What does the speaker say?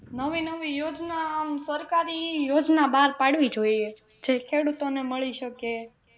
નવી નવી યોજના આમ સરકારી યોજના બહાર પાડવી જોઈએ જે ખેડૂતો ને મળી શકે.